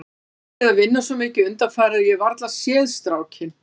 Ég hef verið að vinna svo mikið undanfarið að ég hef varla séð strákinn.